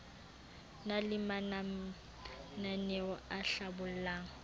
na le mananaeo a hlabollang